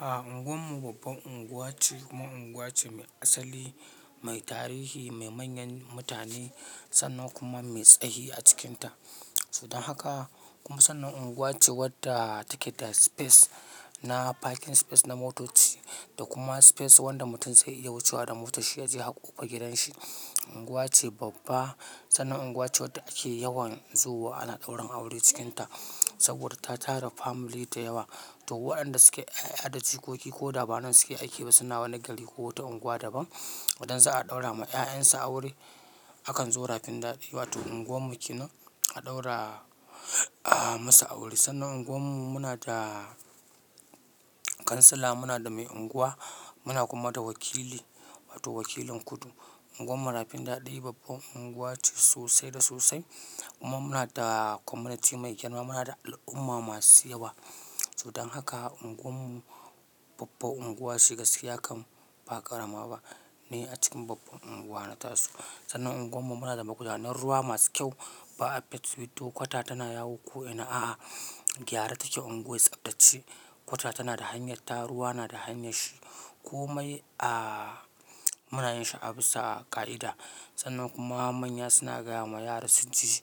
A unguwar mu babban unguwa ce kuma unguwa ce mai asali, mai tarihi, mai manyan mutane sannan kuma mai tsahi a cikinta. Sodan haka kuma sannan unguwa ce wadda take da space na parking space na motoci da kuma space wanda mutum zai iya wucewa da motar shi ya je harkofar gidan shi. Unguwa ce babba, sannan unguwa ce wadda ake yawan zowa ana ɗaurin aure cikinta saboda ta tara family da yawa. To waɗanda suke 'ya'yadaji ko ki ko dabanan suke aiki ba sannan wani gari ko wata unguwa daban. Idan za a ɗaura ma 'ya'yan su aure, akan zo Rafin Daɗi wato unguwar mu ke nan a ɗaura, ah, musu aure. Sannan unguwar mu muna da kansila, muna da mai unguwa, muna kuma da wakili wato wakilin kudu. Unguwar mu Rafin Daɗi babban unguwa ce sosai da sosai. Kuma muna da community mai girma, muna da al'umma masu yawa. Sodan haka unguwar mu babban unguwa ce gaskiya, kam ba ƙarama ba ni a cikin babban unguwana tasu. Sannan unguwar mu muna da magudanar ruwa masu kyau. Ba a pit with, to kwata tana yawo ko'ina. A'a, gyara take unguwar tsabtace. Kwata tana da hanyar ta, ruwa na da hanyar shi. Komai, ah, munayin shi a bisa ƙa'ida. Sannan kuma manya suna gaya ma yara su ji,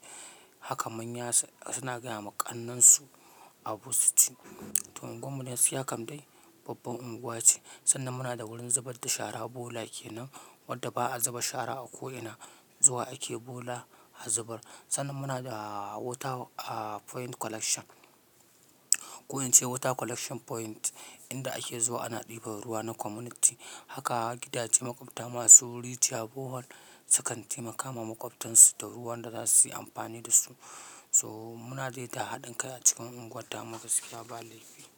haka manya suna gaya ma ƙannen su abin su ji. To unguwar mu dai gaskiya kam dai babban unguwa ce. Sannan muna da wurin zubar da shara bola kenan, wadda ba'a zuba shara a ko'ina zuwa ake bola a zubar. Sannan muna da water, ah, point collection. Ko in ce water collection point, inda ake zuwa ana ɗiban ruwa na community. Haka gidaje, maƙwabta masu ri jiya borehole sukan taimaka ma maƙwabtan su da ruwan da za su yi amfani da su. So muna dai da haɗin kai a cikin unguwarta mu gaskiya ba laifi.